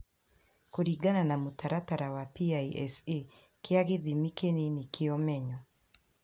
Kũringana na mũtaratara wa PISA kĩa gĩthimi kĩnini kĩa ũmenyo.